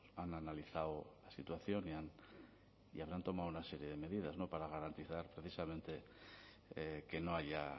han analizado la situación y habrán tomado una serie de medidas no para garantizar precisamente que no haya